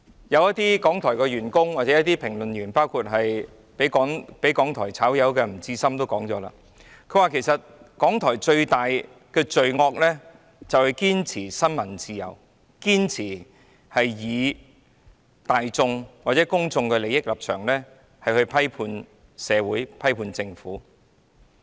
一些港台員工或評論員，包括被港台辭退的吳志森也說過，其實港台最大的罪惡就是堅持新聞自由、堅持以公眾利益的立場批判社會及批判政府。